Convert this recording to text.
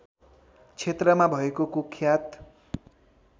क्षेत्रमा भएको कुख्यात